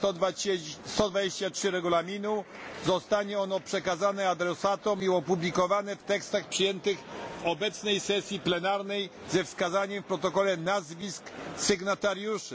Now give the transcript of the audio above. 123 Regulaminu zostanie ono przekazane adresatom i opublikowane w tekstach przyjętych w obecnej sesji plenarnej ze wskazaniem w protokole nazwisk sygnatariuszy.